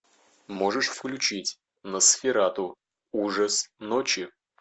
можешь включить носферату ужас ночи